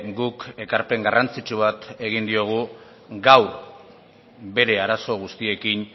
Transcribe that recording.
guk ekarpen garrantzitsu bat egin diogu gaur bere arazo guztiekin